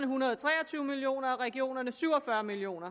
hundrede og tre og tyve million kroner og regionerne syv og fyrre million